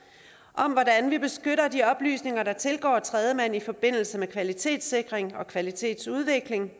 og om hvordan vi beskytter de oplysninger der tilgår tredjemand i forbindelse med kvalitetssikring og kvalitetsudvikling